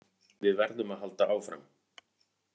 Við verðum að halda áfram